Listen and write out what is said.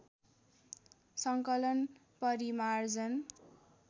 सङ्कलन परिमार्जन